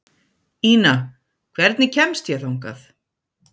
Ina, hvernig kemst ég þangað?